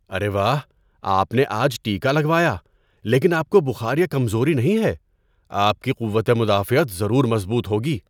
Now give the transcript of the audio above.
ارے واہ! آپ نے آج ٹیکہ لگوایا لیکن آپ کو بخار یا کمزوری نہیں ہے۔ آپ کی قوت مدافعت ضرور مضبوط ہوگی!